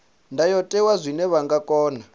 ndayotewa zwine vha nga kona